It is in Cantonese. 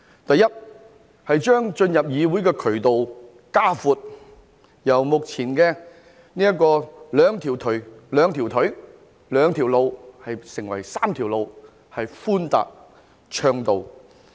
第一，擴闊進入議會的渠道，由目前的兩條腿、兩條路變成3條路，而且是寬達暢道。